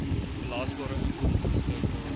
belasbare inkomste beskikbaar